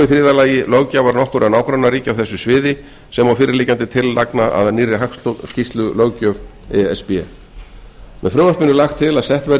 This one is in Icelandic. í þriðja lagi löggjafar nokkurra nágrannaríkja á þessu sviði sem og fyrirliggjandi tillagna að nýrri hagskýrslulöggjöf e s b með frumvarpinu er lagt til að sett verði